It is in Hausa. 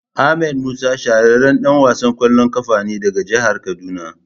Ahmed Musa shahararren dan wasan kwallon kafa ne daga jihar kaduna.